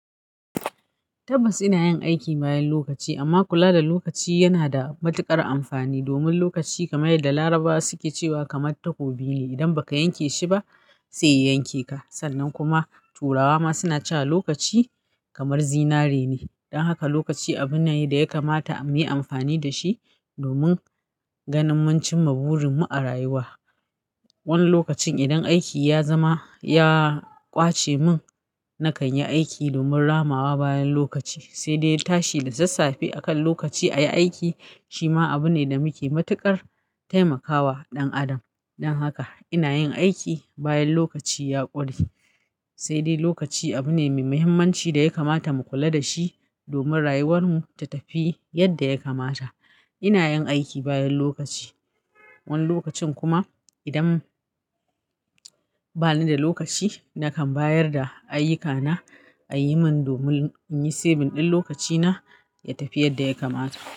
Tabbas ina yin aiki bayan lokaci, amma kula da lokaci yana da matuƙar amfani domin lokaci kamar yadda Larabawa suke cewa kamar takobi ne, idan baka yanke shi ba sai ya yanke ka. Sannan kuma turawa suna cewa lokaci kamar zinare ne don haka lokaci abu ne ya kamata muyi amfani da shi domin ganin mun cin ma burin mu a rayuwa. Wani lokacin idan aiki ya zama ya ƙwace mun, na kan yi aiki domin ramawa bayan lokaci, sai dai tashi da sassafe a kan lokaci a yi aiki shi ma abu ne da muke matuƙar taimakawa ɗan adam. Don haka ina yin aiki bayan lokaci ya ƙure, sai dai lokaci abu ne mai muhimmanci da ya kamata mu kula da shi domin rayuwar mu ta tafi yadda ya kamata. Ina yin aiki bayan lokaci. Wani lokacin kuma idan bani da lokaci na bayar da ayyuka na. Ayi mun domin in yi saving din lokaci na ya tafi yadda ya kamata.